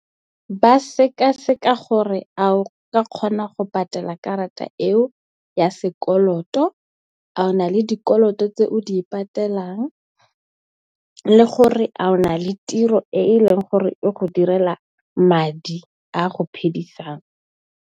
Ba sekaseka gore a o ka kgona go patela karata eo ya sekoloto, a o na le dikoloto tse o di patelang le gore a o na le tiro e e leng gore e go direla madi a go phedisang.